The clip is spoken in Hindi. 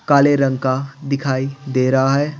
काले रंग का दिखाई दे रहा है।